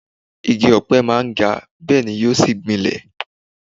Igi ọpẹ máa ń ga, bẹ́ẹ̀ni yóò sì gbìnlẹ̀.